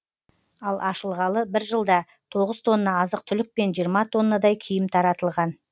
ал ашылғалы бір жылда тоғыз тонна азық түлік пен жиырма тоннадай киім таратылған